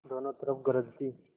दोनों तरफ गरज थी